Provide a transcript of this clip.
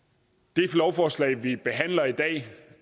det lovforslag vi behandler i dag